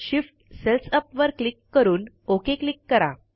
Shift cells up वर click करून okay click करा